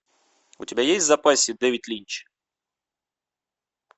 у тебя есть в запасе дэвид линч